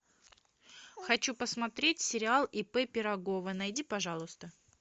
хочу посмотреть сериал ип пирогова найди пожалуйста